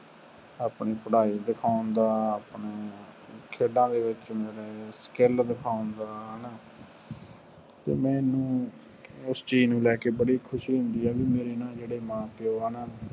ਆਪਣੀ ਪੜ੍ਹਾਈ ਦਿਖਾਉਣ ਦਾ ਆਪਣੀ ਚਲਾਨ ਵਿਰੁੱਧ ਮੁਜ਼ਾਹਰੇ